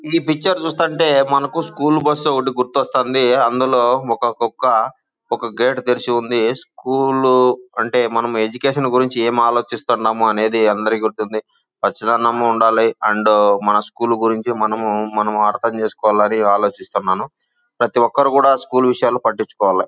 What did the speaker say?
ఈ పిక్చర్ చూస్తుంటే మనకు స్కూల్ బస్సు ఒకటి గుర్తువస్తుంది. అందులో ఒక కుక్క ఒక గేటు తెరిచి ఉంది. స్కూలు అంటే మనం ఎడ్యుకేషన్ గురించి ఏం ఆలోచిస్తారు ఏమో అనేది అందరికీ ఉంటుంది . ఖచ్చితంగా ఉండాలి. అండ్ మన స్కూల్ గురించి మనము మనం అర్థం చేసుకోవాలి అని ఆలోచిస్తున్నాను. ప్రతి ఒక్కరు కూడా స్కూల్ విషయాలు పట్టించుకోవాలి.